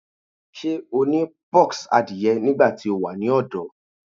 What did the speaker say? Ṣe o ni pox adie nigbati o wa ni ọdọ?